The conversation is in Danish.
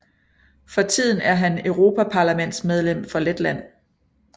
For tiden er han europaparlamentsmedlem for Letland